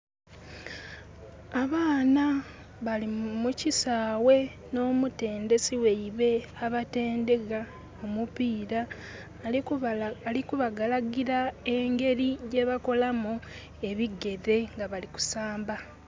Abaana bali mu kisaghe n'omutendesi gheibwe abatendheka omupiira. Ali ku bagalagira engeri gye bakolamu ebigere nga bali kusamba.